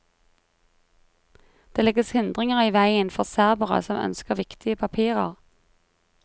Det legges hindringer i veien for serbere som ønsker viktige papirer.